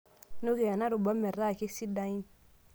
Neiko ena rubat metaa keisidain.